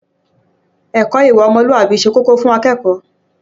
Ẹ̀kọ́ ìwà ọmọlúwàbí ṣe kókó fún akẹ́kọ̀ọ́.